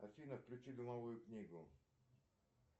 афина включи домовую книгу